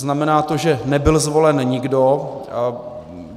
Znamená to, že nebyl zvolen nikdo.